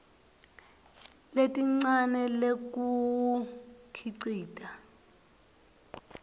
lelincane lekuwukhicita